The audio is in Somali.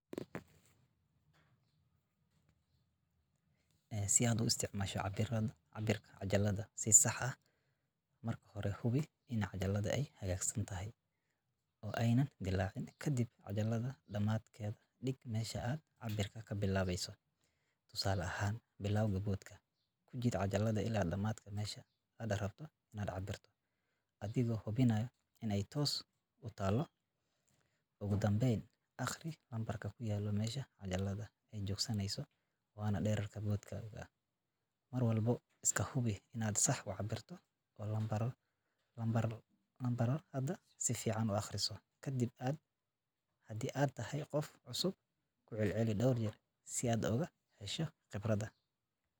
Si aad u isticmaasho cabbirka cajaladda si sax ah, marka hore, hubi in cajaladda ay hagaagsan tahay oo aanay dillaacin. Kadib, cajaladda dhamaadkeeda dhig meesha aad cabbirka ka bilaabayso, tusaale ahaan, bilowga boodhka. Ku jiid cajaladda ilaa dhamaadka meesha aad rabto inaad cabbirto, adigoo hubinaya in ay toos u taallo. Ugu dambayn, akhri lambarka ku yaalla meesha cajaladda ay joogsaneyso, waana dhererka boodhkaaga. Mar walba iska hubi inaad sax u cabbirto oo lambarrada si fiican u akhriso. Haddii aad tahay qof cusub, ku celceli dhowr jeer si aad uga hesho khibrad."